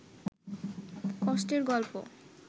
কষ্টের গল্প